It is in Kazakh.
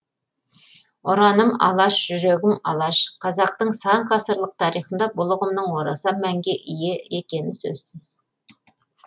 ұраным алаш жүрегім алаш қазақтың сан ғасырлық тарихында бұл ұғымның орасан мәнге ие екені сөзсіз